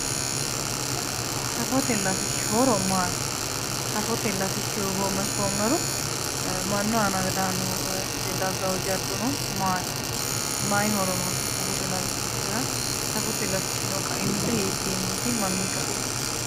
Safote latishshi horo maati? safote latishshi hoogomme ikkiro mannu aana daggawo jaddono maati? mayi horo noose safote latishshira, safote latishshino kaimise hiikkiinniiti mamii kaeeti?